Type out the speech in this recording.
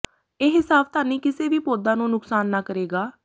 ਇਹ ਸਾਵਧਾਨੀ ਕਿਸੇ ਵੀ ਪੌਦਾ ਨੂੰ ਨੁਕਸਾਨ ਨਾ ਕਰੇਗਾ